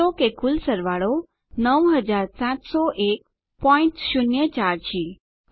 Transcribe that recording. નોંધ લો કે કુલ સરવાળો 970104 છે